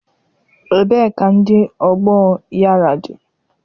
Ebee kandị ọgbọọ yara dị?